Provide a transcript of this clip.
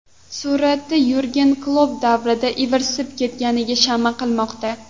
Suratda Yurgen Klopp darvoza ivirsib ketganiga shama qilmoqda.